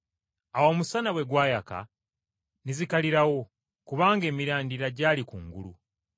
Awo omusana bwe gwayaka ne zikalirawo, kubanga emirandira gyali kungulu.